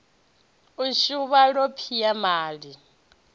u suvha ḽo peama ḽi